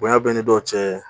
Bonya bɛ ni dɔ cɛ